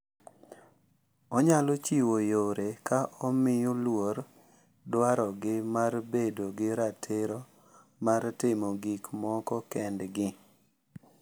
Onyalo chiwo yore ka omiyo luor dwarogi mar bedo gi ratiro mar timo gik moko kendgi.